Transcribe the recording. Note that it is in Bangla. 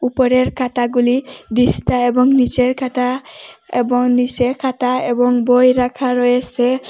উপরের খাতাগুলি দিস্তা এবং নীচের খাতা এবং নীচের খাতা এবং বই রাখা রয়েসে।